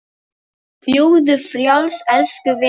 Fljúgðu frjáls, elsku vinur.